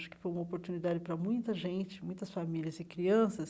Acho que foi uma oportunidade para muita gente, muitas famílias e crianças.